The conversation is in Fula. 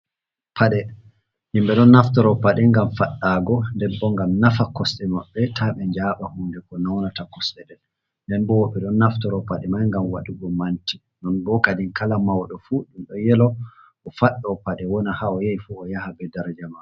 Pade himɓe ɗon naftaro paɗe ngam faɗɗago debbo gam nafa kosɗe maɓɓe ta be jaba hunde ko naunata kosɗe del, nden bo woɓɓe ɗon naftaro paɗe mai gam waɗugo manti non bo kadi kala mauɗo fu ɗum do yelo o faɗɗo pade wona ha o yai fu o yaha be dar jamaro.